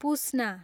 पुस्ना